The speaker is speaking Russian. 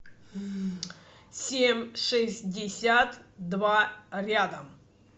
семь шестьдесят два рядом